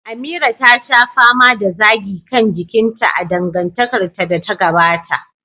Amira ta sha fama da zagi kan jikinta a dangantakarta da ta gabata.